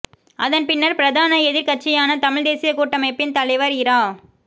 அதன்பின்னர் பிரதான எதிர்க்கட்சியான தமிழ்த் தேசியக் கூட்டமைப்பின் தலைவர் இரா